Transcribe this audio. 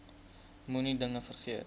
moenie dinge vergeet